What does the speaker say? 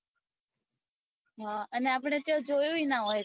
હ અને આપડે ત્યો જોયું એ ના હોય